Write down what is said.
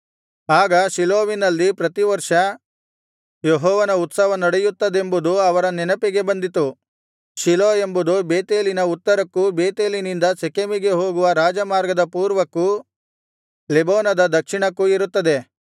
ಆಗ ಶೀಲೋವಿನಲ್ಲಿ ಪ್ರತಿವರ್ಷ ಯೆಹೋವನ ಉತ್ಸವ ನಡೆಯುತ್ತದೆಂಬುದು ಅವರ ನೆನಪಿಗೆ ಬಂದಿತು ಶೀಲೋ ಎಂಬುದು ಬೇತೇಲಿನ ಉತ್ತರಕ್ಕೂ ಬೇತೇಲಿನಿಂದ ಶೆಕೆಮಿಗೆ ಹೋಗುವ ರಾಜಮಾರ್ಗದ ಪೂರ್ವಕ್ಕೂ ಲೆಬೋನದ ದಕ್ಷಿಣಕ್ಕೂ ಇರುತ್ತದೆ